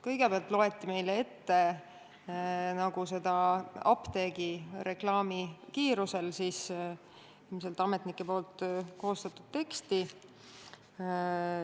Kõigepealt loeti meile ette apteegireklaami kiirusel ilmselt ametnike koostatud teksti.